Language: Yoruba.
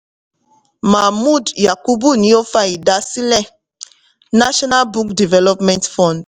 mahmood yakubu ni ó fa ìdásílẹ̀ national book development fund